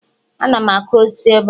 Ana m akụ osisi ebe a.